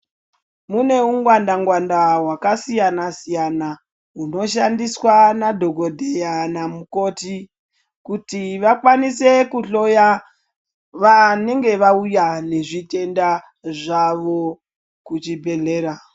Mune ungwanda ngwanda hwakasiyana siyana hunoshandiswa nadhokodheya namukoti kuti vakwanise kuhloya vanenge vauya nezvitenda zvavo kuchibhedlera.